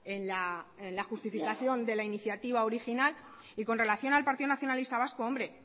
en la justificación de la iniciativa original y con relación al partido nacionalista vasco hombre